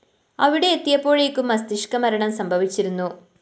അവിടെ എത്തിയപ്പോഴെക്കും മസ്തിഷ്‌ക മരണം സംഭവിച്ചിരുന്നു